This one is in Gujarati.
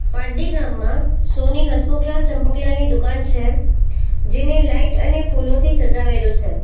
પારડી ગામમાં સોની હસમુખ લાલ ચંપકલાલની દુકાન છે જેને લાઈટ અને ફૂલોથી સજાવેલો છે.